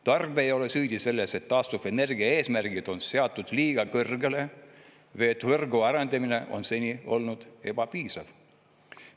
Tarbija ei ole süüdi selles, et taastuvenergia eesmärgid on seatud liiga kõrgele või et võrgu arendamine on seni olnud ebapiisav.